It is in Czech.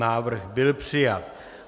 Návrh byl přijat.